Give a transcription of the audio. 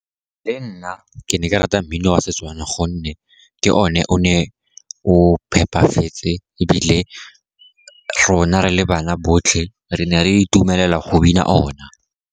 Le nna ke ne ke rata mmino wa Setswana, gonne ke o ne o ne o phepafetse, ebile rona re le bana botlhe re ne re itumelela go bina ona.